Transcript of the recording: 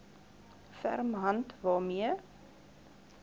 ferm hand waarmee